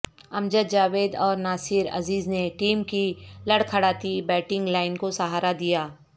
امجد جاوید اور ناصر عزیز نے ٹیم کی لڑکھڑاتی بیٹنگ لائن کو سہارا دیا